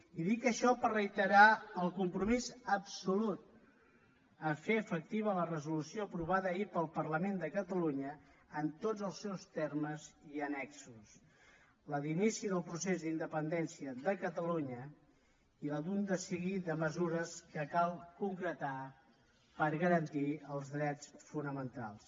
i dic això per reiterar el compromís absolut a fer efectiva la resolució aprovada ahir pel parlament de catalunya en tots els seus termes i annexos la d’inici del procés d’independència de catalunya i la d’un seguit de mesures que cal concretar per garantir els drets fonamentals